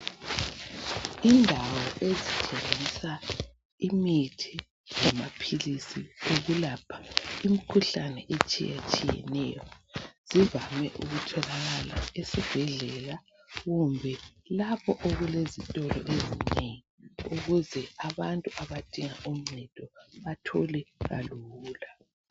Indawo ezithengisa imithi lamaphilizi ukulapha imikhuhlane etshiyetshiyeneyo zivame ukutholakala esibhedlela kumbe lapho okulezitolo ezinengi ukuze abantu abadinga uncedo bathole kalula.